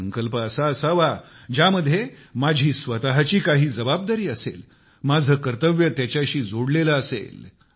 संकल्प असा असावा ज्यामध्ये माझी स्वतःची काही जबाबदारी असेल माझे कर्तव्य त्याच्याशी जोडलेले असेल